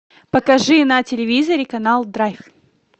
покажи на телевизоре канал драйв